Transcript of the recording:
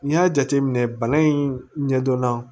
N'i y'a jateminɛ bana in ɲɛ dɔnna